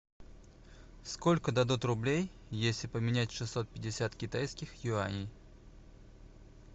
сколько дадут рублей если поменять шестьсот пятьдесят китайских юаней